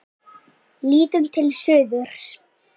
Lítum til suðurs.